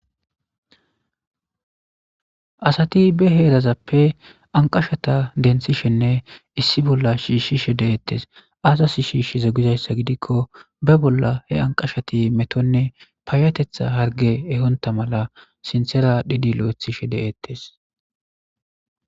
Asati be herazape anqashata dendishene issi bola shishishe de'etes azasi shishize gizaysa gidiko ba bolape anqashti metone payateta harge ehonta mala sintera adhidi lo'atishe de'etes.